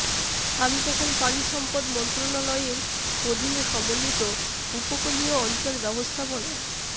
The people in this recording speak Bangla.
আমি তখন পানিসম্পদ মন্ত্রণালয়ের অধীনে সমন্বিত উপকূলীয় অঞ্চল ব্যবস্থাপনা